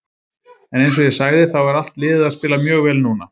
En eins og ég sagði þá er allt liðið að spila mjög vel núna.